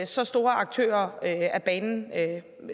så store aktører af banen